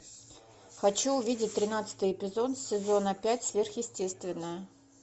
хочу увидеть тринадцатый эпизод сезона пять сверхъестественное